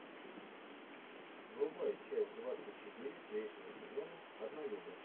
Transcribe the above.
врубай часть двадцать четыре третьего сезона однолюбы